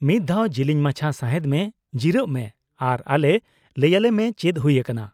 -ᱢᱤᱫ ᱫᱷᱟᱣ ᱡᱤᱞᱤᱧ ᱢᱟᱪᱷᱟ ᱥᱟᱸᱦᱮᱫ ᱢᱮ, ᱡᱤᱨᱟᱹᱜ ᱢᱮ ᱟᱨ ᱟᱞᱮ ᱞᱟᱹᱭᱟᱞᱮᱢᱮ ᱪᱮᱫ ᱦᱩᱭ ᱟᱠᱟᱱᱟ ᱾